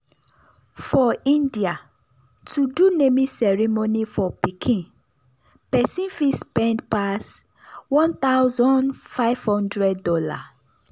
for india to do naming ceremony for pikin persin fit spend passone thousand five thousand dollars